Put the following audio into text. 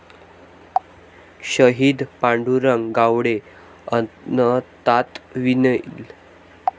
शहीद पांडुरंग गावडे अनंतात विलीन